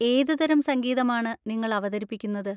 ഏതുതരം സംഗീതമാണ് നിങ്ങൾ അവതരിപ്പിക്കുന്നത്?